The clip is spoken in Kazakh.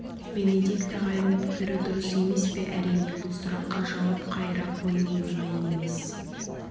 бенедикт ағайдың пікірі дұрыс емес пе әрине бұл сұраққа жауап қайыра қою оңай емес